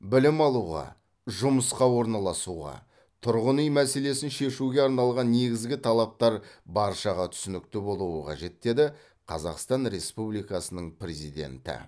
білім алуға жұмысқа орналасуға тұрғын үй мәселесін шешуге арналған негізгі талаптар баршаға түсінікті болуы қажет деді қазақстан республикасының президенті